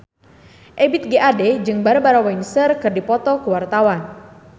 Ebith G. Ade jeung Barbara Windsor keur dipoto ku wartawan